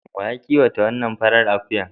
Wa ya kiwata wannan farar akuyar?